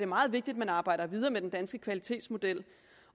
meget vigtigt at man arbejder videre med den danske kvalitetsmodel